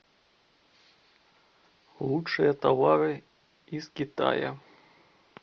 лучшие товары из китая